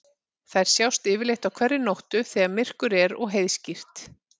Þær sjást yfirleitt á hverri nóttu þegar myrkur er og heiðskírt.